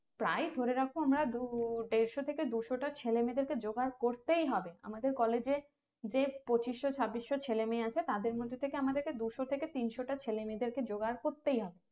প্রায় ধরে রাখো দেড়শো থেকে দুশোটা ছেলেমেয়ে দেরকে জোগাড় করতেই হবে আমাদের college যে পঁচিশসো চাবিসসো ছেলে মেয়ে আছে তাদের মধ্যে থেকে আমাদেরকে দুশো থেকে তিনশোটা ছেলে মেয়েদেরকে জোগাড় করতেই হবে